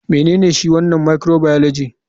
Menene shi wanan microbioligy?